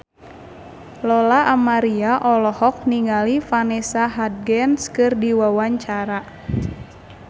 Lola Amaria olohok ningali Vanessa Hudgens keur diwawancara